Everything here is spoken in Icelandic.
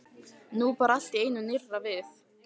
Nú bar allt í einu nýrra við.